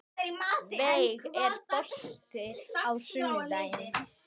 Veig, er bolti á sunnudaginn?